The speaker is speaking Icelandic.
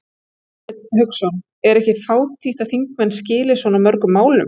Hafsteinn Hauksson: Er ekki fátítt að þingmenn skili svo mörgum málum?